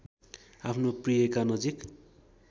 आफ्नो प्रियका नजिक